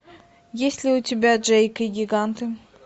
есть ли у тебя джейк и гиганты